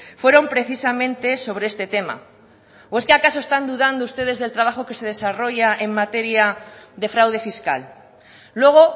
fueron precisamente sobre este tema o es que acaso están dudando ustedes del trabajo que se desarrolla en materia de fraude fiscal luego